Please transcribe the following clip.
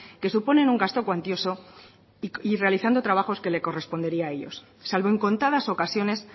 que suponen un gasto cuantioso y realizando trabajos que les correspondería a ellos salvo en contadas ocasiones